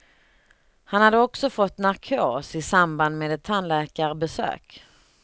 Han hade också fått narkos i samband med ett tandläkarbesök.